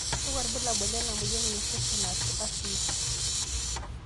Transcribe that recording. kakua irbulabol le moyian e infections, and/or asthma.